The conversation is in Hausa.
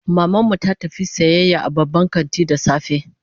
Maman mu ta tafi sayayya a babban kanti da safe